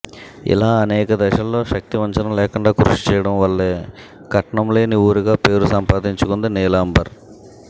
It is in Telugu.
ఇలా అనేక దశల్లో శక్తివంచన లేకుండా కృషి చేయడం వల్లే కట్నం లేని ఊరుగా పేరు సంపాదించుకుంది నీలాంబర్